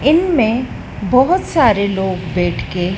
इनमें बाहोत सारे लोग बैठके--